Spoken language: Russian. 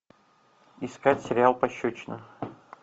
искать сериал пощечина